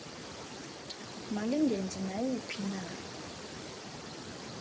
malingenzi nayi phina